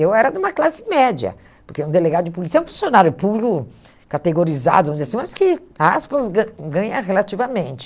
Eu era de uma classe média, porque um delegado de polícia é um funcionário público categorizado, vamos dizer assim, mas que, aspas, gan ganha relativamente.